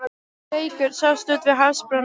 Reykur sást úti við hafsbrún, og